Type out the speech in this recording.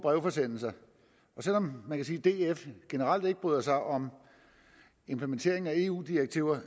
forsendelser og selv om man kan sige at df generelt ikke bryder sig om implementeringen af eu direktiver